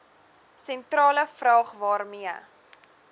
sentrale vraag waarmee